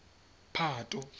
phato